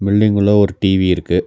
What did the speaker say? Building உள்ள ஒரு TV இருக்கு.